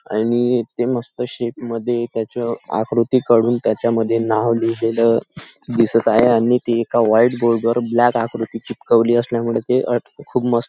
आणि इथे मस्त शेप मद्धे त्याची आकृति काढून त्याच्या मध्ये नाव लिहिलेलं दिसत आहे आणि ते एका व्हाइट बोर्ड वर ब्लॅक आकृती चिटकवली असल्यामुळे ते अट खूप मस्त --